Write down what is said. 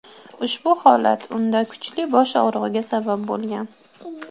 Ushbu holat unda kuchli bosh og‘rig‘iga sabab bo‘lgan.